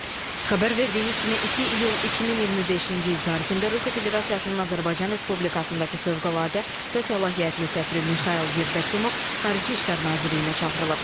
Xəbər verdiyimiz kimi, 2 iyul 2025-ci il tarixində Rusiya Federasiyasının Azərbaycan Respublikasındakı fövqəladə və səlahiyyətli səfiri Mixail Yevdakimov Xarici İşlər Nazirliyinə çağırılıb.